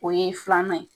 O ye filan ye